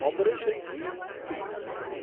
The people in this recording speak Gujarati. operation greens scheme